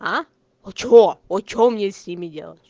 а что о что мне с ними делать